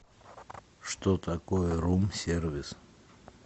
что такое рум сервис